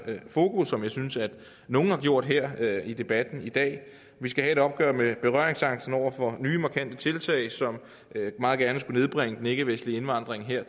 fokus som jeg synes at nogle har gjort her i debatten i dag vi skal have et opgør med berøringsangsten over for nye markante tiltag som meget gerne skulle nedbringe den ikkevestlige indvandring her